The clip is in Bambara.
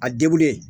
A degunnen